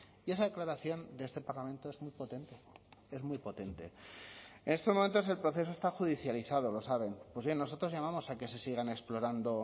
y esa declaración de este parlamento es muy potente es muy potente en estos momentos el proceso está judicializado lo saben pues bien nosotros llamamos a que se sigan explorando